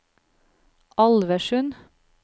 Alversund